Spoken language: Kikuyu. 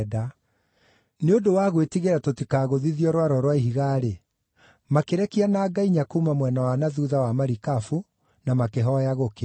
Nĩ ũndũ wa gwĩtigĩra tũtikaagũthithio rwaro rwa ihiga, makĩrekia nanga inya kuuma mwena wa na thuutha wa marikabu, na makĩhooya gũkĩe.